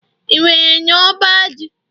ị nwere n'ọba ji?